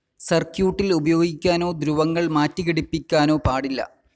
സർക്യൂട്ടിൽ ഉപയോഗിക്കാനോ ധ്രുവങ്ങൾ മാറ്റി ഘടിപ്പിക്കാനോ പാടില്ല.